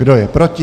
Kdo je proti?